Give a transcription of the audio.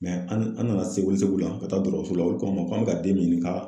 an an nana se welesebugu la ka taa dɔgɔtɔrɔso la olu k'an ma k'an be ka den min ɲini ka